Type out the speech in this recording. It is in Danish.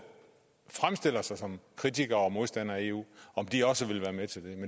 fremstiller sig som kritikere og modstandere af eu om de også ville være med til